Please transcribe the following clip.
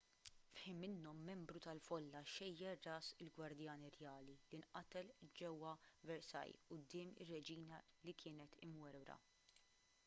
f'ħin minnhom membru tal-folla xejjer ras il-gwardjan irjali li nqatel ġewwa versailles quddiem ir-reġina li kienet imwerwra